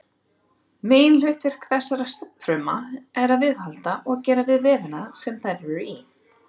Meginhlutverk þessara stofnfrumna er að viðhalda og gera við vefina sem þær eru í.